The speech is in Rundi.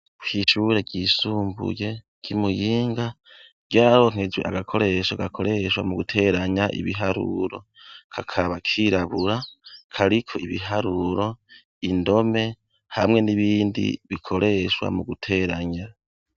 Kw'ishure ryisumbuye ry'i Muyinga, ryaronkejwe agakoresho gakoreshwa mu guteranya ibiharuro. Kakaba kirabura kariko ibiharuro, indome, hamwe n'ibindi bikoreshwa mu guteranya.